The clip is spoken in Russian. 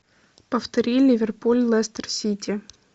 повтори ливерпуль лестер сити